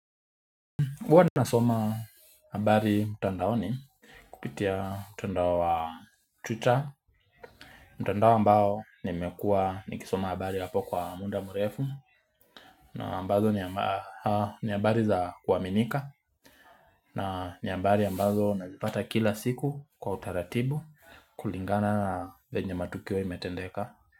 Huwa nasoma habari mutandaoni kupitia mtandao wa twitter mtandao ambao nimekuwa nikisoma habari hapo kwa munda murefu na ambazo ni habari za kuaminika na ni habari ambazo unazipata kila siku kwa utaratibu kulingana venye matukio imetendeka.